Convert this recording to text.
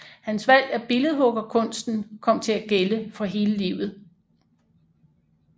Hans valg af billedhuggerkunsten kom til at gælde for hele livet